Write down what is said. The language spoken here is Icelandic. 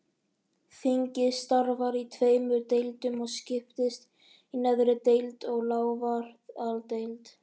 Þingið starfar í tveimur deildum og skiptist í neðri deild og lávarðadeild.